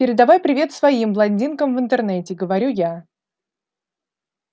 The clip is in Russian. передавай привет своим блондинкам в интернете говорю я